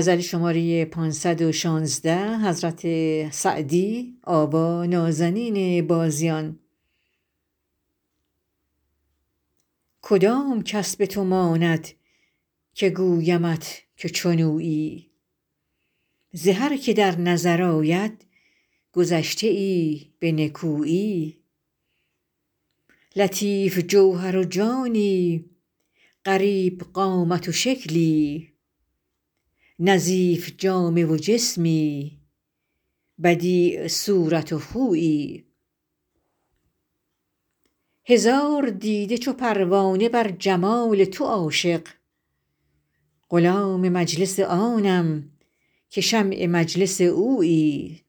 کدام کس به تو ماند که گویمت که چون اویی ز هر که در نظر آید گذشته ای به نکویی لطیف جوهر و جانی غریب قامت و شکلی نظیف جامه و جسمی بدیع صورت و خویی هزار دیده چو پروانه بر جمال تو عاشق غلام مجلس آنم که شمع مجلس اویی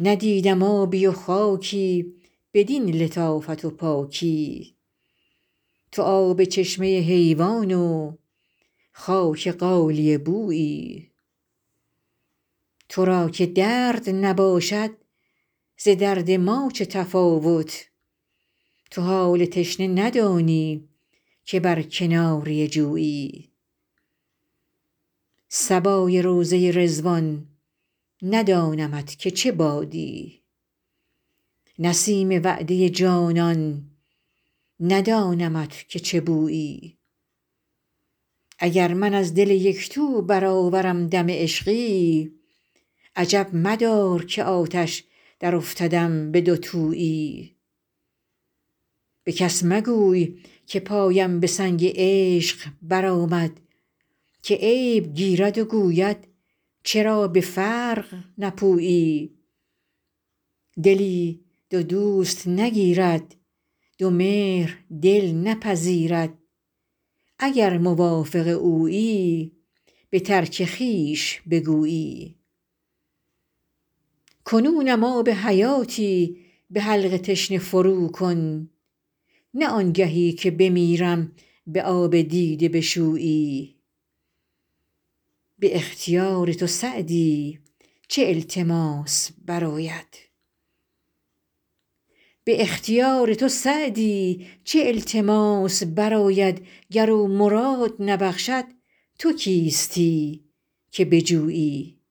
ندیدم آبی و خاکی بدین لطافت و پاکی تو آب چشمه حیوان و خاک غالیه بویی تو را که درد نباشد ز درد ما چه تفاوت تو حال تشنه ندانی که بر کناره جویی صبای روضه رضوان ندانمت که چه بادی نسیم وعده جانان ندانمت که چه بویی اگر من از دل یک تو برآورم دم عشقی عجب مدار که آتش درافتدم به دوتویی به کس مگوی که پایم به سنگ عشق برآمد که عیب گیرد و گوید چرا به فرق نپویی دلی دو دوست نگیرد دو مهر دل نپذیرد اگر موافق اویی به ترک خویش بگویی کنونم آب حیاتی به حلق تشنه فروکن نه آنگهی که بمیرم به آب دیده بشویی به اختیار تو سعدی چه التماس برآید گر او مراد نبخشد تو کیستی که بجویی